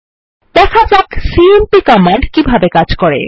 দেখা যাক সিএমপি কিভাবে কাজ করে